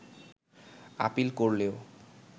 appeal করলেও